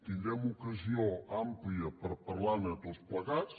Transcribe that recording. tindrem ocasió àmplia per parlar·ne tots plegats